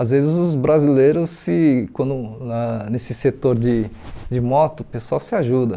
Às vezes os brasileiros, se quando na nesse setor de de moto, o pessoal se ajuda.